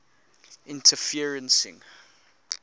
interferencing